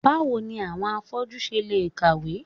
Báwo ni àwọn afọ́jú ṣe le ń kàwé?